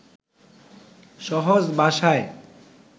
সহজ ভাষায়